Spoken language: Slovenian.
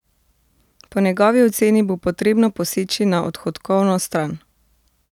Po njegovi oceni bo potrebno poseči na odhodkovno stran.